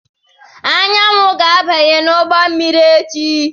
Anyanwụ ga-abanye n'ụgbọ mmiri echi.